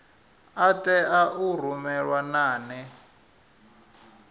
a tea u rumelwa nane